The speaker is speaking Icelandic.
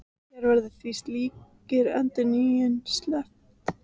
Hér verður því slíkri endurnýjun sleppt.